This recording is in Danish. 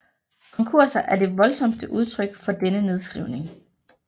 Konkurser er det voldsomste udtryk for denne nedskrivning